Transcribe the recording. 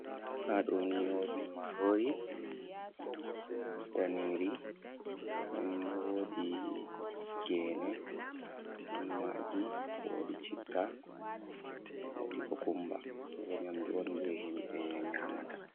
Haɗoni wodi marori daniri. nden wodi gene, on maji wodi chitta wodi kukumba bo nyamdu on je himbe nyamata.